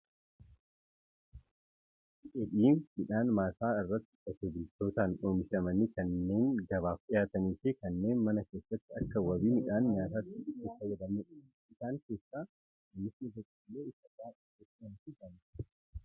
Midhaan dheedhii midhaan maasaa irratti qotee bultootaan oomishamanii kanneen gabaaf dhihaatanii fi kanneen mana keessatti akka wabii midhaan nyaataatti itti fayyadamnudha. Isaan keessaa oomishni boqolloo isa baayyee beekamaa fi jaallatamaadha.